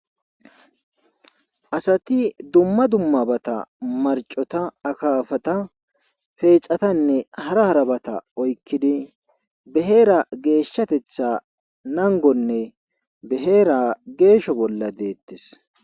Asati dumma dummabata marcota akafata feexatanne hara harabata oykkidi beheera geeshshatetha nangonne beheera geesho bolla deettes